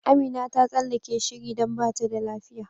Amina ta tsallake shiri don bata da lafiya.